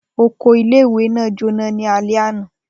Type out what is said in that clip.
Oko ìle-ìwe naa jona ni alẹ ana.